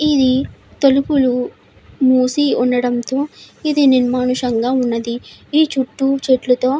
ఇక్కడ తలుపులు మూసి ఉండడంతో ఇది నిర్మానుష్యంగా ఉన్నది చుట్టూ చెట్లు తో --